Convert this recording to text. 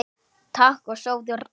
Takk og sofðu rótt.